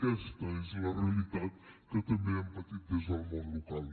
aquesta és la realitat que també hem patit des del món local